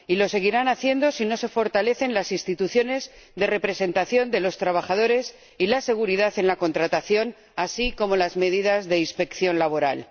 Y lo seguirán haciendo si no se fortalecen las instituciones de representación de los trabajadores y la seguridad en la contratación, así como las medidas de inspección laboral.